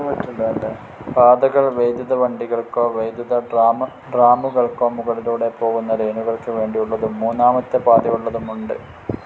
പാതകൾ വൈദ്യുത വണ്ടികൾക്കോ വൈദ്യുതട്രാമുകൾക്കോ മുകളിലൂടെ പോകുന്ന ലൈനുകൾക്ക് വേണ്ടിയുള്ളതും മൂന്നാമത്തെ പാതയുള്ളതും ഉണ്ട്.